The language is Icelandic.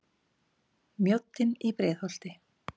Mjóddin í Breiðholti.